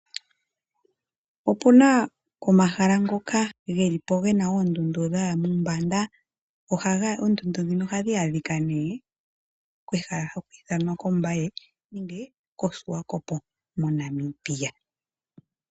Opuna omahala ngoka gelipo gena oondundu dhaya mombanda, oondundu ndhino ohadhi adhika kehala ho haku ithanwa koMbaye nende koSwakopo moNamibia.